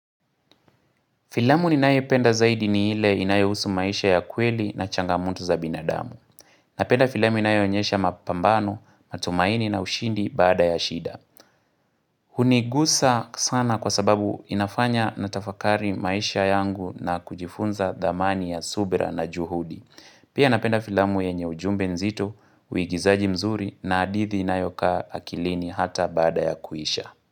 Filamu ninaipenda zaidi ni ile inayohusu maisha ya kweli na changamoto za binadamu. Napenda filamu inayo onyesha mapambano, matumaini na ushindi baada ya shida. Hunigusa sana kwa sababu inafanya na tafakari maisha yangu na kujifunza thamani ya subira na juhudi. Pia napenda filamu yenye ujumbe nzito, uigizaji mzuri na hadithi inayokaa akilini hata baada ya kuisha.